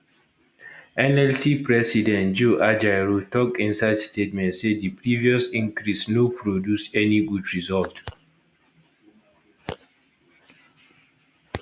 nlc president joe ajaero tok inside statement say di previous increase no produce any good result